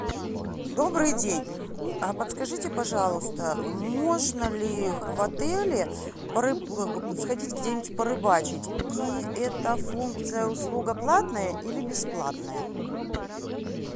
добрый день а подскажите пожалуйста можно ли в отеле сходить где нибудь порыбачить и эта функция услуга платная или бесплатная